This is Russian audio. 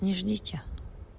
ни ждите